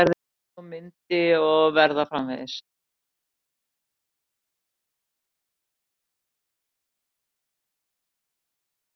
Svo myndi og verða framvegis.